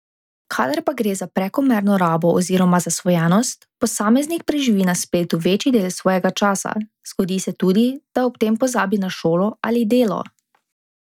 Kadar pa gre za prekomerno rabo oziroma zasvojenost, posameznik preživi na spletu večji del svojega časa, zgodi se tudi, da ob tem pozabi na šolo ali delo.